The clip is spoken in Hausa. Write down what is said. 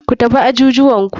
Ku tafi ajujuwanku.